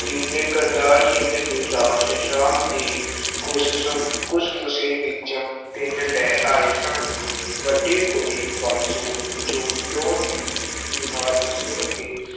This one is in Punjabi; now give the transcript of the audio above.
ਤਿੰਨੇ ਕਰਤਾਰ ਸਿੰਘ ਦੀ ਲਾਸ਼ ਸ਼ਾਮ ਦੇ ਘੁਸਸੁ ਘੁਸਮੁਸੇ ਵਿੱਚ ਪਿੰਡ ਲੈ ਆਏ ਸਨ ਵੱਡੀ ਕੁੜੀ ਬੰਸੋ ਜੋ ਪਿਉ ਦੀ ਬੀਮਾਰੀ ਸੁਣ ਕੇ